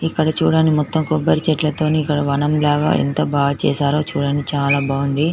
ఇక్కడ చూడండిమొత్తం కొబ్బరి చెట్ల తోని ఇక్కడ వనం లాగా ఎంత బాగా చేసారో చూడండి.చాలా బాగుంది.